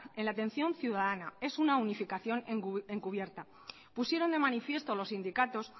en la atención ciudadana es una unificación encubierta pusieron de manifiesto los sindicatos